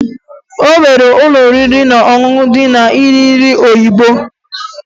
O nwere ụlọ oriri na ọṅụṅụ ndị na-ere nri oyibo